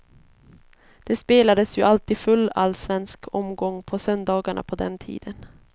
Det spelades ju alltid full allsvensk omgång på söndagarna på den tiden.